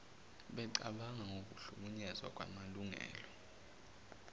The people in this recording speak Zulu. becabanga ngokuhlukunyezwa kwamalungelo